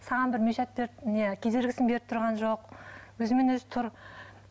саған бір мешать беріп не кедергісін беріп тұрған жоқ өзімен өзі тұр